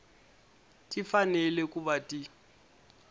ti fanele ku va ti